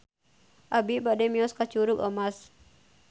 Abi bade mios ka Curug Omas